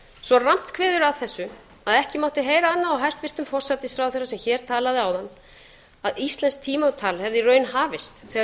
svo rammt kemur að þessu að ekki mátti heyra annað á hæstvirtum forsætisráðherra sem hér talaði áðan að íslenskt tímatal hafði í raun hafist þegar